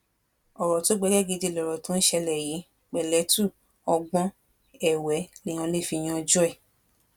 ọrọ tó gbẹgẹ gidi lọrọ tó ń ṣẹlẹ yìí pẹlẹtù ọgbọn ẹwẹ lèèyàn lè fi yanjú ẹ